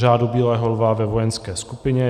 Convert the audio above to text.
Řádu bílého lva ve vojenské skupině.